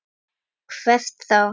Hvert þá?